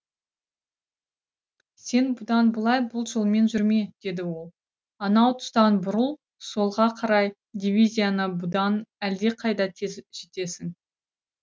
сен бұдан былай бұл жолмен жүрме деді ол анау тұстан бұрыл солға қарай дивизияна бұдан әлдеқайда тез жетесің